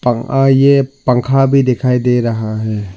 आ ये पंखा भी दिखाई दे रहा है।